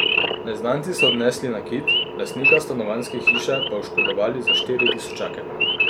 Neznanci so odnesli nakit, lastnika stanovanjske hiše pa oškodovali za štiri tisočake.